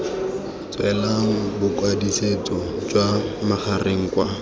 tswelang bokwadisetso jwa magareng kwa